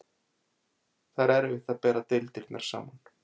Það er erfitt bera deildirnar saman.